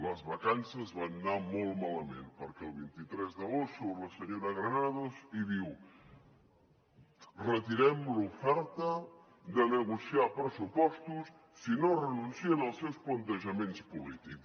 les vacances van anar molt malament perquè el vint tres d’agost surt la senyora granados i diu retirem l’oferta de negociar pressupostos si no renuncien als seus plantejaments polítics